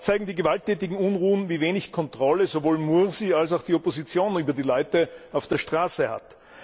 Auch zeigen die gewalttätigen Unruhen, wie wenig Kontrolle sowohl Mursi als auch die Opposition über die Menschen auf der Straße haben.